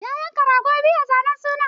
Ya yanka rago biyu a zanen sunan